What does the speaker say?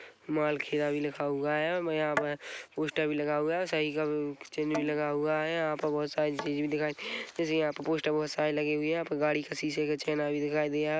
माल खेड़ा भी लिखा हुआ है मैं यहाँ पे पोस्टर भी लगा हुआ है सही का अम्म चिन्ह भी लगा हुआ है यहाँ पर बहोत सारी चीज़ भी दिखाई जैसे यहाँ पे पोस्टर बहोत सारे लगे हुए है यहाँ पर गाड़ी के शीशे का छेना भी दिखाई दे रहा है।